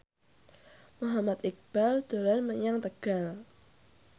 Muhammad Iqbal dolan menyang Tegal